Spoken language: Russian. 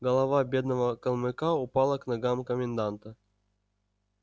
голова бедного калмыка упала к ногам коменданта